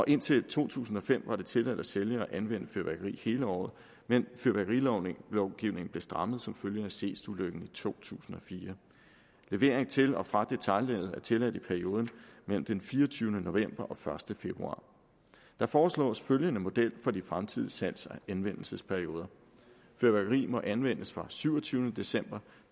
indtil to tusind og fem var det tilladt at sælge og anvende fyrværkeri hele året men fyrværkerilovgivningen blev strammet som følge af seestulykken i to tusind og fire levering til og fra detailleddet er tilladt i perioden mellem den fireogtyvende november og første februar der foreslås følgende model for de fremtidige salgs og anvendelsesperioder fyrværkeri må anvendes fra syvogtyvende december